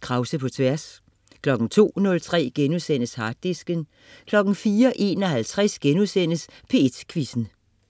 Krause på Tværs* 02.03 Harddisken* 04.51 P1 Quizzen*